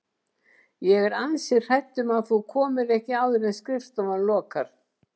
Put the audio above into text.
Ég er ansi hrædd um að þú komir ekki áður en skrifstofan lokar